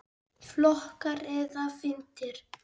Flokkar eða víddir